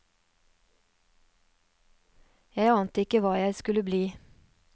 Jeg ante ikke hva jeg skulle bli.